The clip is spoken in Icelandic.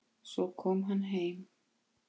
Svo kom hann heim.